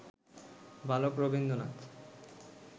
বালক রবীন্দ্রনাথ